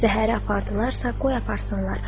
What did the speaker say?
Zəhəri apardılarsa, qoy aparsınlar.